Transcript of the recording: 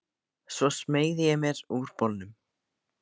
Svo smeygði ég mér úr bolnum.